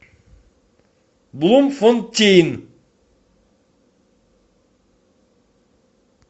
блумфонтейн